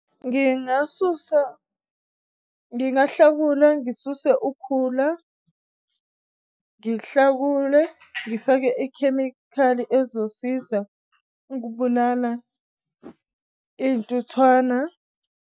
Ngingahlakula ngisuse ukhula ndihlakule ndifake ikhemikhali ezosiza ukubulala iy'ntuthwana.